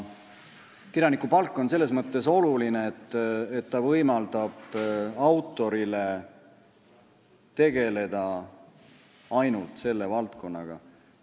Kirjanikupalk on selles mõttes oluline, et ta võimaldab autoril tegelda ainult selle valdkonnaga.